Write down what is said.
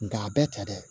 Nga a bɛɛ tɛ dɛ